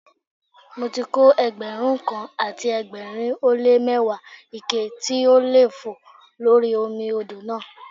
Mo ti kó Ẹgbẹ̀rún kan àti ẹgbẹ̀rin ó lé mẹ́wàá ike tó ń lé fòó lórí omi odò náà.